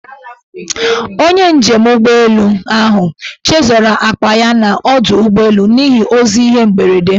Onye njem ụgbọelu ahụ chezọrọ akpa ya n' ọdọụgbọelu n' ihi ozi ihe mberede.